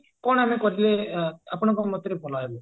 କଣ ଆମେ କଲେ ଆପଣଙ୍କ ମତରେ ଭଲ ହେବ?